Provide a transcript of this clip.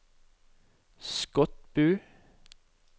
Skotbu